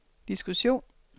diskussion